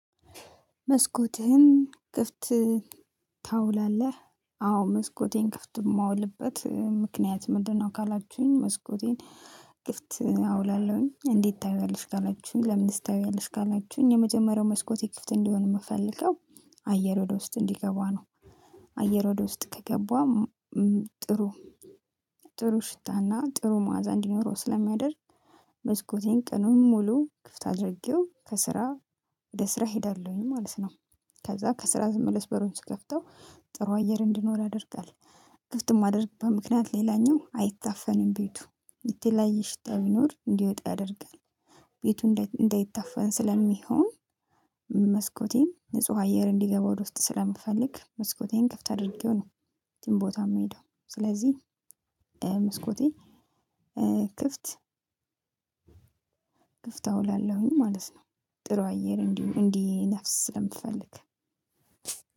መስኮትህን ክፍት ታውላለህ? አዎ መስኮቴን ክፍት የማውልበት ምክንያት ምንድነው? ካላችሁኝ መስኮቴን ክፍት አውላለሁኝ? እንዴት ታይዋለሽ ካላችሁኝ? ለምንስ ታይዋያለሽ ካላችሁኝ? የመጀመሪያው መስኮት ክፍት እንዲሆን የምፈልገው አየር ወደ ውስጥ እንዲገባ ነው። አየር ወደ ውስጥ ከገባም ጥሩ ጥሩ ሽታና ጥሩ ማዕዛ እንዲኖረው ስለሚያደርግ። መስኮቴን ቀኑን ሙሉ ክፍት አድርጌው ከስራ ወደ ስራ እሄዳለሁኝ ማለት ነው። ከዛ ከስራ ስመለስ በሩን ስከፍተው ጥሩ አየር እንዲኖር ያደርጋል። ክፍት የማደርግበት ምክንያት ሌላኛው አይታፈንም ቤቱ የተለያየ ሽታ ቢኖር እንዲወጣ ያደርጋል። ቤቱ እንዳይታፈን ስለሚሆን መስኮቴን ንጹህ አየር እንዲገባ ወደ ውስጥ ስለምፈልግ መስኮቴን ክፍት አድርጌው። የትም ቦታ የምሄደው ስለዚህ መስኮቴ ክፍት ክፍት አውላለሁኝ ማለት ነው። ጥሩ አየር እንዲ እንዲነፍስ ስለምፈልግ